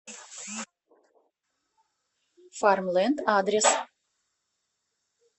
фармленд адрес